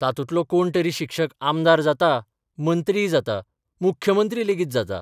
तातूंतलो कोण तरी शिक्षक आमदार जाता, मंत्रीय जाता, मुख्यमंत्री लेगीत जाता.